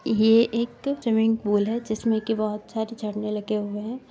ये एक swimming pool है जिसमें की बहुत सारे झरने लगे हुए हैं।